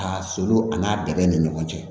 A solo ani n'a dɛnɛn ni ɲɔgɔn cɛ